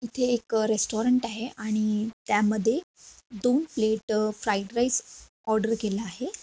इथे एक रेस्टारंट आहे आणि त्यामधे दोन प्लेट फ्राइड राइस ऑर्डर केला आहे.